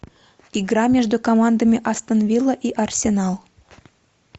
игра между командами астон вилла и арсенал